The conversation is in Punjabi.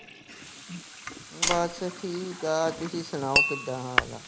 ਬਸ ਠੀਕ ਆ ਤੁਸੀਂ ਸੁਣਾਓ, ਕਿੱਦਾਂ ਹਾਲ ਆ?